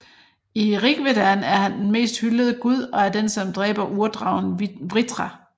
I Rigvedaen er han den mest hyldede gud og er den som dræber urdragen Vritra